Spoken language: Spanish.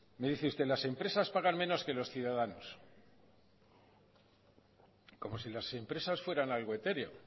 me dice usted las empresas pagan menos que los ciudadanos como si las empresas fueran algo etéreo